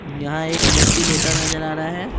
यहां एक व्यक्ति लेटा नजर आ रहा है।